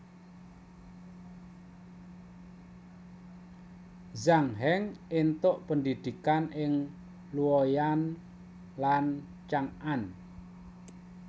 Zhang Heng éntuk pendhidhikan ing Luoyang lan Chang an